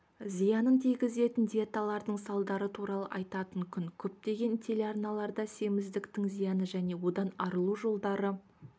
зиянын тигізетін диеталардың салдары туралы айтатын күн көптеген телеарналарда семіздіктің зияны және одан арылу жолдары